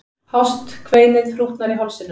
Hást kveinið þrútnar í hálsinum.